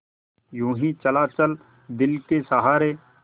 यूँ ही चला चल दिल के सहारे